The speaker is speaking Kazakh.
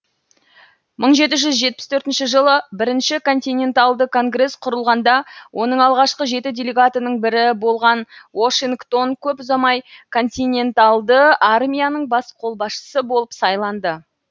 мың жеті жүз жетпіс төртінші жылы бірінші континенталды конгрес құрылғанда оның алғашқы жеті делегатының бірі болған уошингтон көп ұзамай континенталды армияның бас қолбасшысы болып сайланды